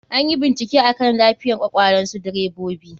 Anyi bincike akan lafiyan kwakwalnsu direbobi.